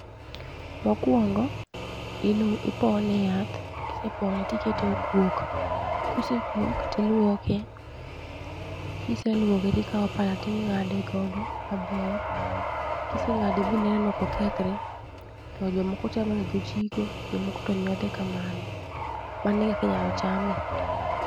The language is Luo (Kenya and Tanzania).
Mokuongo ipone e yath kise pone tikete okuok, kose kuok ,tiluoke kiseluoke ti kao pala tingade godo maber, kise ngade bi neno kokethre to jomoko chame ga go jiko jomoko to nyodhe kamano ,mano e kaka inyalo chame.